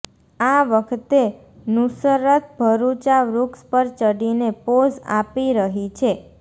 આ વખતે નુસરત ભરુચા વૃક્ષ પર ચઢીને પોઝ આપી રહી છે